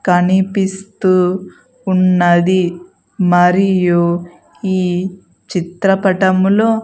కనిపిస్తూ ఉన్నది మరియు ఈ చిత్రపటములో.